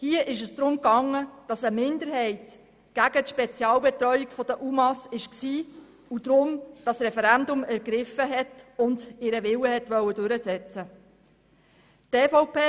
Hier ging es darum, dass eine Minderheit gegen die Spezialbetreuung der UMA war, deshalb dieses Referendum ergriffen hat und ihren Willen durchsetzen wollte.